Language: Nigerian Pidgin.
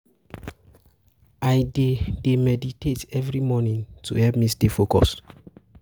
I dey meditate every morning to help me stay focused.